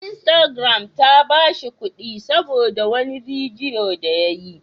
Instagram ta ba shi kuɗi saboda wani bidiyo da ya yi.